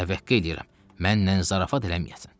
Təvəqqə eləyirəm, mənnən zarafat eləməyəsən.